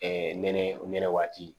nɛnɛ nɛnɛ waati